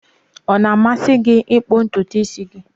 Ọ na-amasị gị ịkpụ ntutu isi gị?